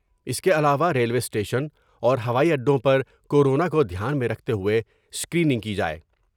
اس کے علاوہ railway station اور ہوائی اڈوں پر کورونا کو دھیان میں رکھتے ہوۓ اسکریننگ کی جاۓ ۔